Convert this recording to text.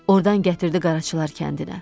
Ordan gətirdi Qaracılar kəndinə.